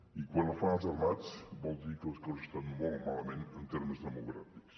i quan la fan els armats vol dir que les coses estan molt malament en termes democràtics